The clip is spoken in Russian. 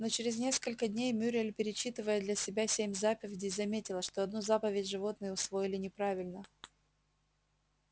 но через несколько дней мюриель перечитывая для себя семь заповедей заметила что одну заповедь животные усвоили неправильно